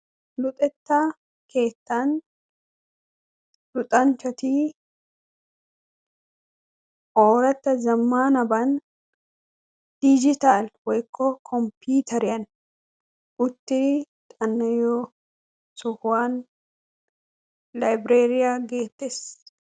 luxxetta keetani luxxanchati ooratta zamanabani computeriyani xana"iyossa getetessi.